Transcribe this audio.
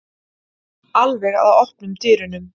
Alveg að opnum dyrunum.